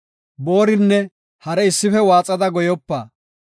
Boorinne hare issife waaxada goyopa.